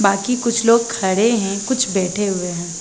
बाकी कुछ लोग खड़े हैं कुछ बैठे हुए हैं।